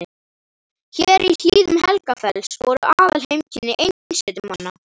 Hér í hlíðum Helgafells voru aðalheimkynni einsetumanna.